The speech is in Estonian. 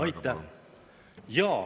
Aitäh!